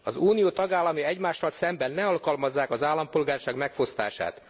Az Unió tagállamai egymással szemben ne alkalmazzák az állampolgárságtól való megfosztást.